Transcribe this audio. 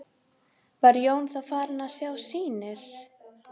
Var Jón þá farinn að sjá sýnir.